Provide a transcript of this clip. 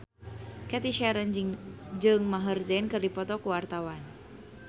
Cathy Sharon jeung Maher Zein keur dipoto ku wartawan